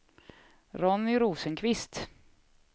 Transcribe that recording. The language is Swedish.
Ronny Rosenqvist